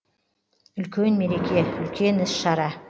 үлкен мереке үлкен іс шара